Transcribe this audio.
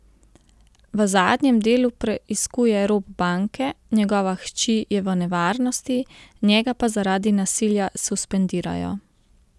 V zadnjem delu preiskuje rop banke, njegova hči je v nevarnosti, njega pa zaradi nasilja suspendirajo.